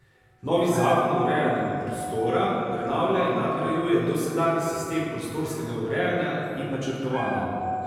Novi zakon o urejanju prostora prenavlja in nadgrajuje dosedanji sistem prostorskega urejanja in načrtovanja.